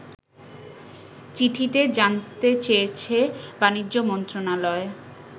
চিঠিতে জানতে চেয়েছে বাণিজ্য মন্ত্রণালয়